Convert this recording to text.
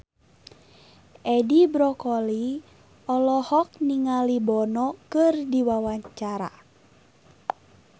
Edi Brokoli olohok ningali Bono keur diwawancara